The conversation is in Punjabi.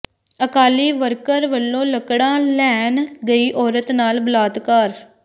ਅਕਾਲੀ ਵਰਕਰ ਵੱਲੋਂ ਲੱਕੜਾ ਲੈਣ ਗਈ ਔਰਤ ਨਾਲ ਬਲਾਤਕਾਰ